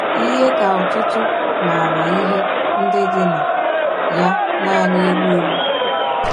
Ihe ka ọtụtụ maara ihe ndị dị na ya nanị elụ elụ.